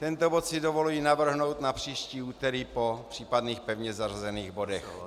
Tento bod si dovoluji navrhnout na příští úterý po případných pevně zařazených bodech.